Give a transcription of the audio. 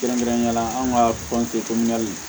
Kɛrɛnkɛrɛnnenyala an ka